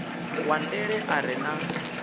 wa ndele a re na